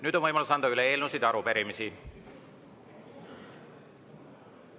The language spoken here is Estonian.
Nüüd on võimalus anda üle eelnõusid ja arupärimisi.